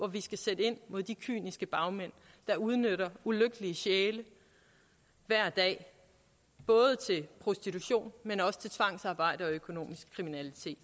vi skal sætte ind mod de kyniske bagmænd der udnytter ulykkelige sjæle hver dag både til prostitution men også til tvangsarbejde og økonomisk kriminalitet